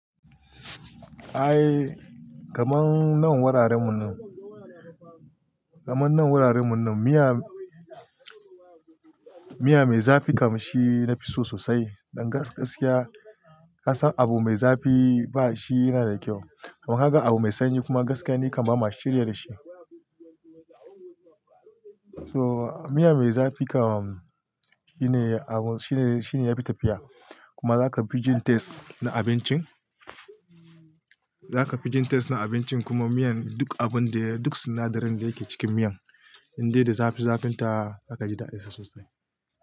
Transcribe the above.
Ai kaman nan wuraren mu nan, kaman nan wuraren mu nan miya, miya mai zafi kam shi nafi so sosai. Dan gaskiya ka san abu mai zafi ba shi yana da kyau. Dan haka abu mai sanyi kuma gaskiya ni kaman ba ma shirya da shi. So miya mai zafi kam shine abu shine, shine yafi tafiya. Kuma zaka fi jin taste na abincin, zaka fi jin taste na abincin kuma miyan duk abun da duk sinadarin da yake cikin miyan, inda da zafi zafin ta aka ji da'a esa sosai.